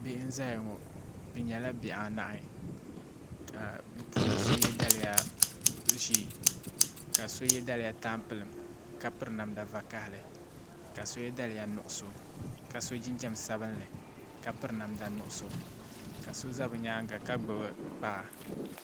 Bihi n zaya ŋɔ bɛ nyɛla bihi anahi ka bɛ puuni so ye daliya ʒee ka so ye daliya tampilim ka piri namda vakahali ka so ye daliya nuɣuso ka so jinjiɛm sabinli ka piri namda nuɣuso ka so za bɛ nyaanga ka gbibi kpaa.